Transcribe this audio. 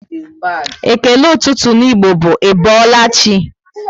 Ékélé ụtụtụ n'Igbo bụ "Ị boola chi?"